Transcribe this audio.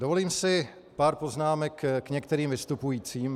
Dovolím si pár poznámek k některým vystupujícím.